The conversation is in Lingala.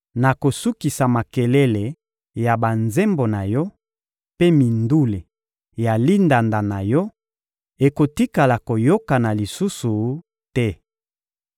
Nakosukisa makelele ya banzembo na yo, mpe mindule ya lindanda na yo ekotikala koyokana lisusu te.